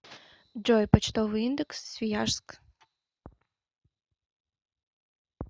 джой почтовый индекс свияжск